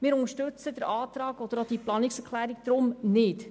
Deshalb unterstützen die Planungserklärung nicht.